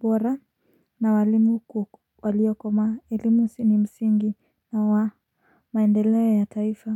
bora na walimu walio komaa elimu s ini msingi na wa maendeleo ya taifa.